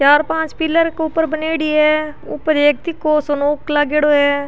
चार पांच पिलर के ऊपर बनायेड़ी है ऊपर एक तीको सो क नोक लाग्योड़ौ है।